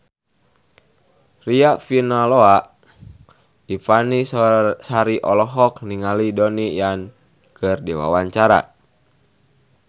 Riafinola Ifani Sari olohok ningali Donnie Yan keur diwawancara